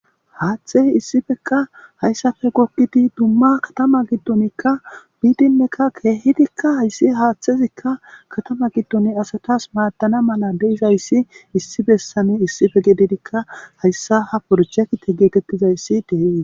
haaththey issifeka hayssafe gokkidi dumma katama giddonikka biidinnekka keehidikka hayssi haaththezikka katama giddoni asatas maaddana mala deizayssi issi bessani issife gedidikka hayssa ha borchekite geetettizayssi dee